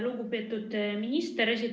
Lugupeetud minister!